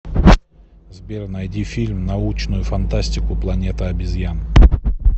сбер найди фильм научную фантастику планета обезьян